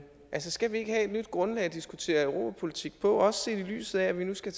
skal vi ikke have et nyt grundlag at diskutere europapolitik på også set i lyset af at vi nu skal